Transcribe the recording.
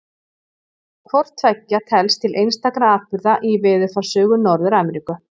Hvort tveggja telst til einstakra atburða í veðurfarssögu Norður-Ameríku.